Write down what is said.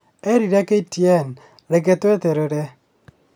erire KTN "Reke tweterere"